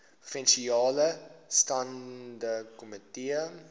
provinsiale staande komitee